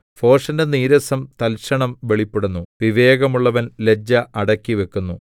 ഭോഷന്റെ നീരസം തൽക്ഷണം വെളിപ്പെടുന്നു വിവേകമുള്ളവൻ ലജ്ജ അടക്കിവെക്കുന്നു